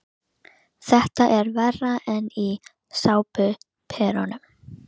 Þetta er verra en í sápuóperum.